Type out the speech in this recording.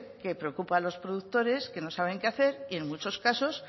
que preocupa a los productores que no saben qué hacer y en muchos casos